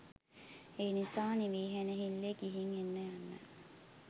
ඒනිසා නිවිහැනහිල්ලේ ගිහිං එන්න යන්න.